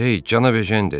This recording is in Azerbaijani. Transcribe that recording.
Ey, cana Ejen dedi.